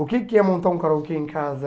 O que que é montar um karaokê em casa?